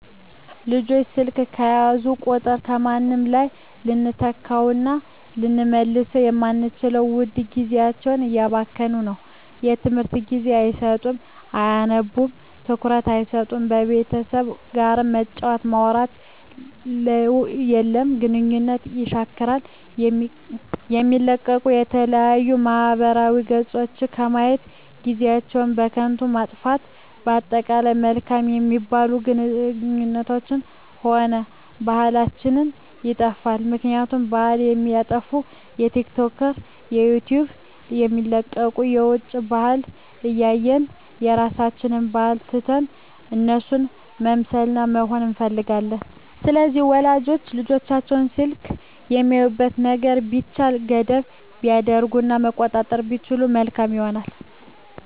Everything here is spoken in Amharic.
ልጆች ስልክ በያዙ ቁጥር ከምንም በላይ ልንተካዉእና ልንመልሰዉ የማንችለዉን ዉድ ጊዜያቸዉን እያባከኑት ነዉ ለትምህርት ጊዜ አይሰጡም አያነቡም ትኩረት አይሰጡም ከቤተሰብ ጋርም መጫወት ማዉራት የለም ግንኙነትን የሻክራል የሚለቀቁ የተለያዩ ማህበራዊ ገፆችን በማየት ጊዜአችን በከንቱ ይጠፋል በአጠቃላይ መልካም የሚባሉ ግንኙነታችንንም ሆነ ባህላችንንም ይጠፋል ምክንያቱም ባህል የሚጠፋዉ በቲክቶክ በዩቲዩብ የሚለቀቁትን የዉጭ ባህልን እያየን የራሳችንን ባህል ትተን እነሱን መምሰልና መሆን እንፈልጋለን ስለዚህ ወላጆች ለልጆቻቸዉ በስልክ የሚያዩትን ነገሮች ቢቻል ገደብ ቢያደርጉበት እና መቆጣጠር ቢችሉ መልካም ይሆናል